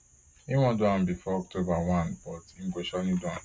im wan do am bifor october one but im go surely do am